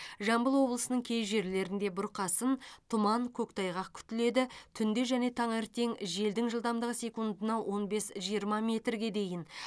жамбыл облысының кей жерлерінде бұрқасын тұман көктайғақ күтіледі түнде және таңертең желдің жылдамдығы секундына он бес жиырма метрге дейін